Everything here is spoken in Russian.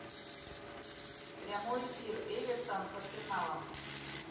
прямой эфир эвертон с арсеналом